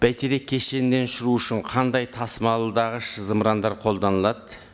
бәйтерек кешенінен ұшыру үшін қандай тасымалдағыш зымырандар қолданылады